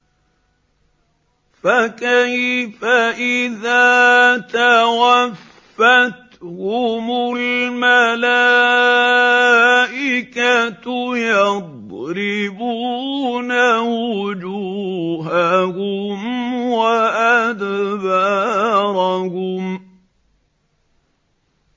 فَكَيْفَ إِذَا تَوَفَّتْهُمُ الْمَلَائِكَةُ يَضْرِبُونَ وُجُوهَهُمْ وَأَدْبَارَهُمْ